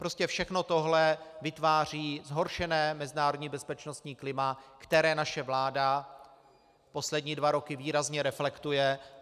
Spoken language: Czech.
Prostě všechno tohle vytváří zhoršené mezinárodní bezpečnostní klima, které naše vláda poslední dva roky výrazně reflektuje.